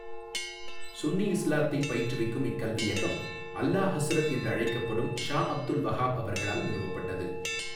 சுன்னி இஸ்லாத்தை பயிற்றுவிக்கும் இக் கல்வியகம் அஃலா ஹழ்ரத் என்று அழைக்கப்படும் ஷா அப்துல் வஹாப் அவர்களால் நிறுவப்பட்டது.